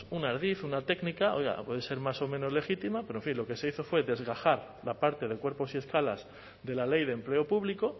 un ardid una técnica oiga a poder ser más o menos legítima pero en fin lo que se hizo fue desgajar la parte de cuerpos y escalas de la ley de empleo público